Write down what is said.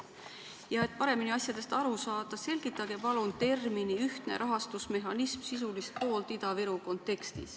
Et asjadest paremini aru saada, selgitage palun termini "ühtne rahastamismehhanism" sisulist poolt Ida-Viru kontekstis.